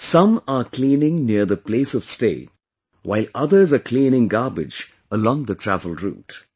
Some are cleaning near the place of stay, while others are cleaning garbage along the travel route